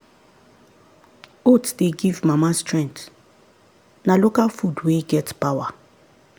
oats dey give mama strength na local food wey get power.